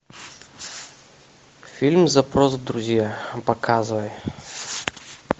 фильм запрос в друзья показывай